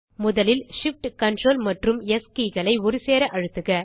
முதலில் Shift Ctrl மற்றும் S keyகளை ஒருசேர அழுத்துக